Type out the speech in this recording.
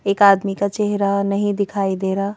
एक आदमी का चेहरा नहीं दिखाई दे रहा।